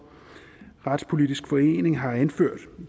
retspolitisk forening har anført